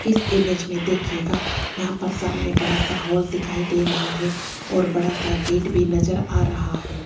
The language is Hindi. इस इमेज में देखिएगा यहां पर सामने बड़ा सा हॉल दिखाई दे रहा है और बड़ा सा गेट भी नज़र आ रहा है।